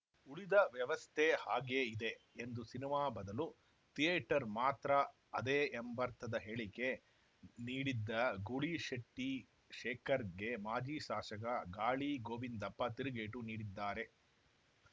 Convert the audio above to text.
ಉಳಿದ ವ್ಯವಸ್ಥೆ ಹಾಗೆಯೇ ಇದೆ ಎಂದು ಸಿನಿಮಾ ಬದಲು ಥಿಯೇಟರ್‌ ಮಾತ್ರ ಅದೇ ಎಂಬರ್ಥದ ಹೇಳಿಕೆ ನೀಡಿದ್ದ ಗೂಳಿಶೆಟ್ಟಿಶೇಖರ್‌ಗೆ ಮಾಜಿ ಶಾಸಕ ಗಾಳಿ ಗೋವಿಂದಪ್ಪ ತಿರುಗೇಟು ನೀಡಿದ್ದಾರೆ